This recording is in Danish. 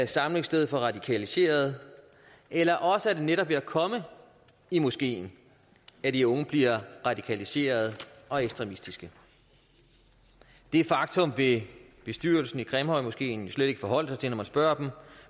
samlingssted for radikaliserede eller også er det ved netop at komme i moskeen at de unge bliver radikaliserede og ekstremistiske det faktum vil bestyrelsen i grimhøjmoskeen slet ikke forholde sig til når man spørger dem og